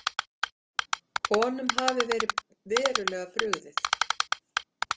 Honum hafi verið verulega brugðið.